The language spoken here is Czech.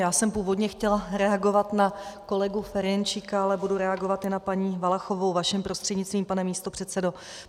Já jsem původně chtěla reagovat na kolegu Ferjenčíka, ale budu reagovat i na paní Valachovou vaším prostřednictvím, pane místopředsedo.